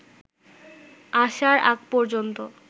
আসার আগ পর্যন্ত